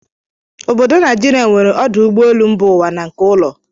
Obodo Naijiria nwere ọdụ ụ́gbọ́elụ́ mba ụwa na nke ụ́lò.